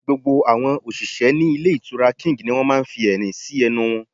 Gbogbo àwọn òṣìṣẹ́ ní Ilé Ìtura King ni wọ́n máa fi ẹ̀rín sí ẹnu wọn